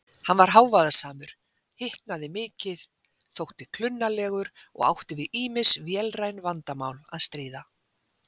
Hann var hávaðasamur, hitnaði mikið, þótti klunnalegur og átti við ýmis vélræn vandamál að stríða.